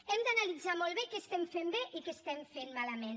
hem d’analitzar molt bé què estem fent bé i què estem fent malament